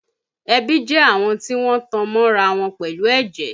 Ẹbí jẹ́ àwọn tí wọ́n tan mọ́ra wọn pẹ̀lú ẹ̀jẹ̀